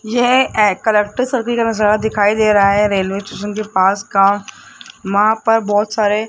यह एक नजारा दिखाई दे रहा है रेलवे स्टेशन के पास का वहां पर बहोत सारे --